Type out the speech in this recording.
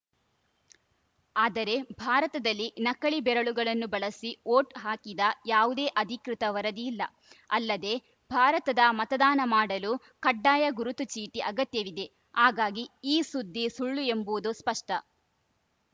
ಆದರೆ ಭಾರತದಲ್ಲಿ ನಕಲಿ ಬೆರಳುಗಳನ್ನು ಬಳಸಿ ಓಟ್‌ ಹಾಕಿದ ಯಾವುದೇ ಅಧಿಕೃತ ವರದಿ ಇಲ್ಲ ಅಲ್ಲದೆ ಭಾರತದ ಮತದಾನ ಮಾಡಲು ಕಡ್ಡಾಯ ಗುರುತು ಚೀಟಿ ಅಗತ್ಯವಿದೆ ಹಾಗಾಗಿ ಈ ಸುದ್ದಿ ಸುಳ್ಳು ಎಂಬುದು ಸ್ಪಷ್ಟ